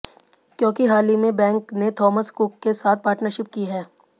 क्योंकि हाल ही में बैंक ने थॉमस कुक के साथ पार्टनरशिप की है